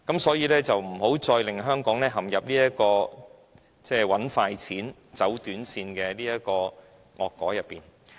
所以，請不要再令香港陷入賺快錢、走短線的惡果之中。